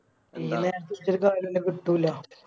കിട്ടൂല